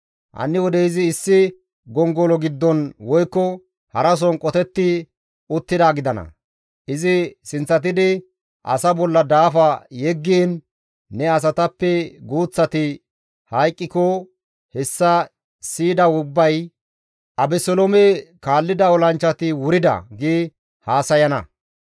Hanni wode izi issi gongolo giddon woykko harason qotetti uttidaa gidana. Izi sinththatidi asaa bolla daafa yeggiin ne asatappe guuththati hayqqiko hessa siyida ubbay, ‹Abeseloome kaallida olanchchati wurida› gi haasayana.